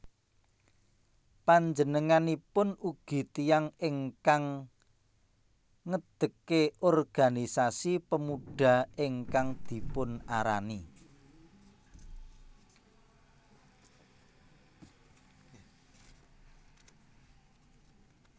Panjenenganipun ugi tiyang ingkang ngedekke organisasi Pemuda ingkang dipunarani